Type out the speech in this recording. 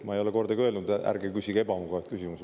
Ma ei ole kordagi öelnud, et ärge küsige ebamugavaid küsimusi.